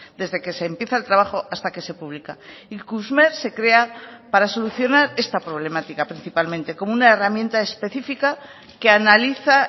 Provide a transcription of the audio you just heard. desde que se empieza el trabajo hasta que se publica ikusmer se crea para solucionar esta problemática principalmente como una herramienta específica que analiza